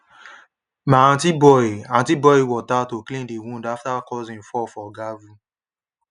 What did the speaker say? my aunty boil aunty boil water to clean the wound after cousin fall for gravel